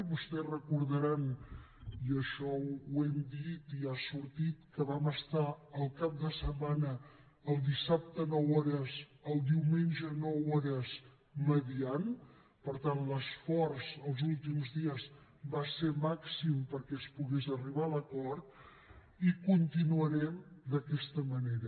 vostès recordaran i això ho hem dit i ha sortit que vam estar el cap de setmana el dissabte nou hores el diumenge nou hores mediant per tant l’esforç els últims dies va ser màxim perquè es pogués arribar a l’acord i continuarem d’aquesta manera